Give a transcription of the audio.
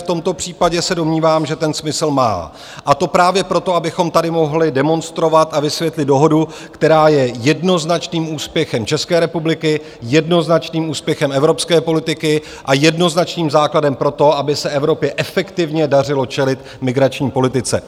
V tomto případě se domnívám, že ten smysl má, a to právě proto, abychom tady mohli demonstrovat a vysvětlit dohodu, která je jednoznačným úspěchem České republiky, jednoznačným úspěchem evropské politiky a jednoznačným základem pro to, aby se Evropě efektivně dařilo čelit migrační politice.